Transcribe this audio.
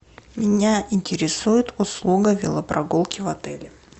меня интересует услуга велопрогулки в отеле